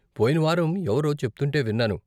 పోయిన వారం ఎవరో చెప్తుంటే విన్నాను.